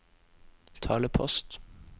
talepost